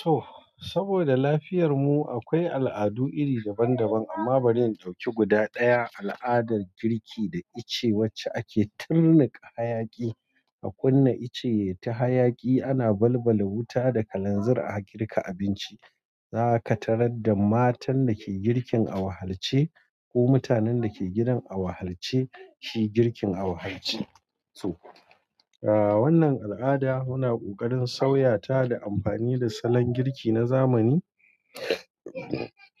To, saboda lafiyar mu akwai al'adu iri daban daban amma bari in ɗauki guda ɗaya, al'adar girki da ice wacce ake tunnuƙa hayaki. A kunna ice yayi ta hayaki ana balbala wuta da kalanzir a girka abinci. Zaka tarar da matan dake girkin a wahalce ko mutanen dake gidan awahalce shi girkin awahalce. To wannan alada muna kokarin sauyata da amfani da salon girki na zamani